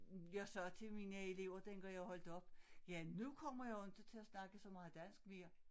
Jeg sagde til mine elever dengang jeg holdt op ja nu kommer jeg jo inte til at snakke så meget dansk mere